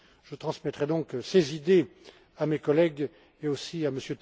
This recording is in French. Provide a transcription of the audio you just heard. Je transmettrai donc ces idées à mes collègues, mais aussi à